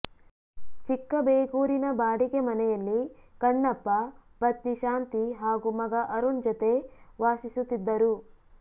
ಚಿಕ್ಕಬೇಗೂರಿನ ಬಾಡಿಗೆ ಮನೆಯಲ್ಲಿ ಕಣ್ಣಪ್ಪ ಪತ್ನಿ ಶಾಂತಿ ಹಾಗೂ ಮಗ ವರುಣ್ ಜತೆ ವಾಸಿಸುತ್ತಿದ್ದರು